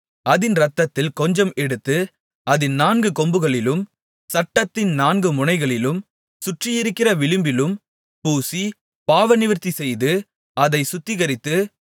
அதின் இரத்தத்தில் கொஞ்சம் எடுத்து அதின் நான்கு கொம்புகளிலும் சட்டத்தின் நான்கு முனைகளிலும் சுற்றியிருக்கிற விளிம்பிலும் பூசி பாவநிவிர்த்திசெய்து அதைச் சுத்திகரித்து